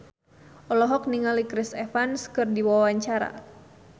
Hetty Koes Endang olohok ningali Chris Evans keur diwawancara